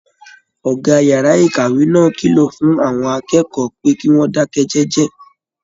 Ọgá yàrá ìkàwé náà kìlọ fún àwọn akẹ́kọ̀ọ́ pé kí wọn dakẹ jẹjẹ.